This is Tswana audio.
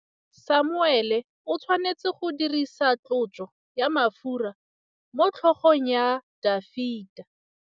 Samuele o tshwanetse go dirisa tlotsô ya mafura motlhôgong ya Dafita.